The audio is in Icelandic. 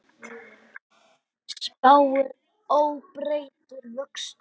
Spáir óbreyttum vöxtum